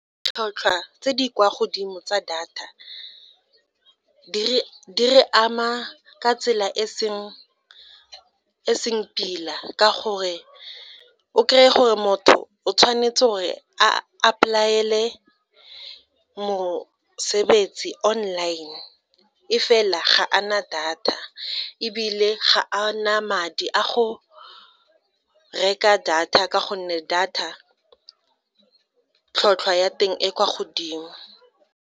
Ditlhotlhwa tse di kwa godimo tsa data di re ama ka tsela e seng pila ka gore o kry-e gore motho o tshwanetse gore apply-ele mosebetsi online e fela ga a na data ebile ga a na madi a go reka data ka gonne data tlhotlhwa ya teng e kwa godimo.